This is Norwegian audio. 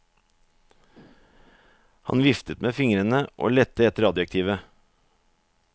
Han viftet med fingrene og lette etter adjektivet.